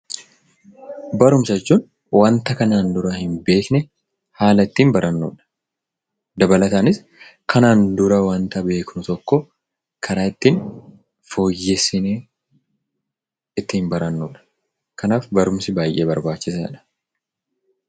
Barumsa jechuun waanta kanaan dura hin beekne haala ittiin barannudha. Dabalataanis kanaan dura wanta beeknu tokko karaa ittiin fooyyessinee ittiin barannudha. Kanaaf barumsi baay'ee barbaachisaadha.